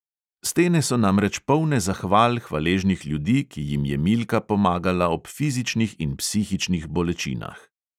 Stene so namreč polne zahval hvaležnih ljudi, ki jim je milka pomagala ob fizičnih in psihičnih bolečinah.